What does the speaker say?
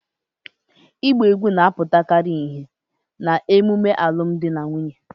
Igba egwu na-aputakari ihe na-emume alum di na nwunye